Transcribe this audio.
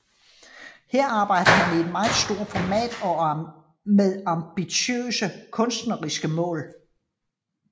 Her arbejder han i et meget stort format og med ambitiøse kunstnerisk mål